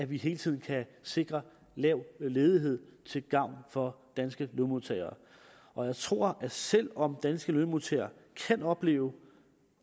vi hele tiden kan sikre lav ledighed til gavn for danske lønmodtagere og jeg tror at selv om danske lønmodtagere kan opleve